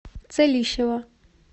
целищева